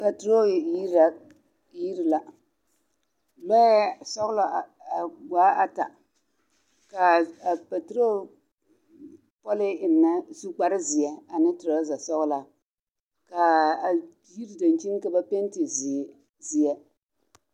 Patorol yiri la yiri la lɔɛ sɔglɔ a a waa ata kaa patorol pɔlii eŋnɛ a su kparrezeɛ ane torɔze sɔglaa kaa a yiri daŋkyini ka ba penti zeere zeɛ.